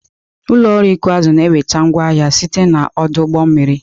Ụlọ ọrụ ịkụ azụ na-enweta ngwa ahịa site na ọdụ ụgbọ mmiri.